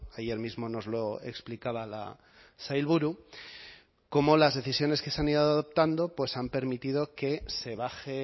ayer mismo nos lo explicaba la sailburu cómo las decisiones que se han ido adoptando pues han permitido que se baje